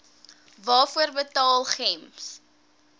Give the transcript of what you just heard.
waarvoor betaal gems